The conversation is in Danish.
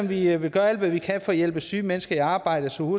vi vil gøre alt hvad vi kan for at hjælpe syge mennesker i arbejde så